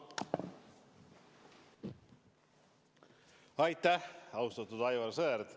Aitäh, austatud Aivar Sõerd!